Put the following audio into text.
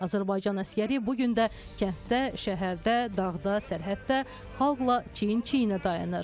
Azərbaycan əsgəri bu gün də kənddə, şəhərdə, dağda, sərhəddə xalqla çiyin-çiyinə dayanır.